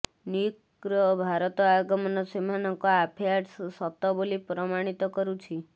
ନିକ୍ଙ୍କର ଭାରତ ଆଗମନ ସେମାନଙ୍କ ଆଫେଆର୍ସ ସତ ବୋଲି ପ୍ରମାଣିତ କରୁଛି